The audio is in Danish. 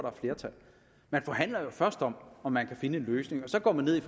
er flertal man forhandler jo først om om man kan finde en løsning og så går man ned i